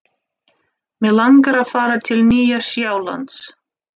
Mig langar að fara til Nýja-Sjálands.